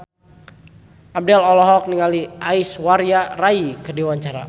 Abdel olohok ningali Aishwarya Rai keur diwawancara